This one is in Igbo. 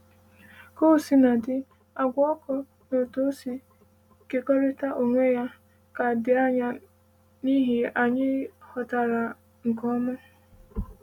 “Ka o sina dị, àgwà ọkụ na otú ọ si ‘kekọrịta onwe ya’ ka dị anya n’ihe anyị ghọtara nke ọma.”